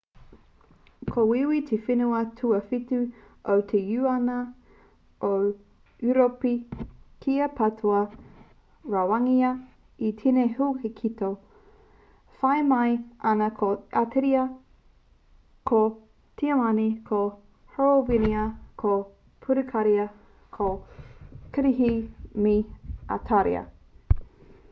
ko wīwī te whenua tuawhitu o te uniana o ūropi kia patua rawangia e tēnei huaketo whai mai ana ko ateria ko tiamani ko horowinia ko purukaria ko kirihi me itāria